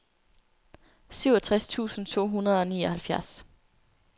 syvogtres tusind to hundrede og nioghalvfjerds